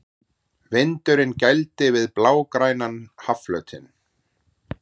Vindurinn gældi við blágrænan hafflötinn.